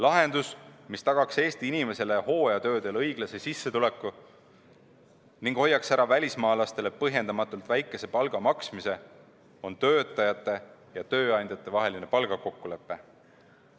Lahendus, mis tagaks Eesti inimestele hooajatöödel õiglase sissetuleku ning hoiaks ära välismaalastele põhjendamatult väikese palga maksmise, on töötajate ja tööandjate vaheline palgakokkulepe.